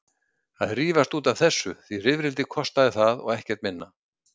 Að rífast út af þessu, því rifrildi kostaði það og ekkert minna.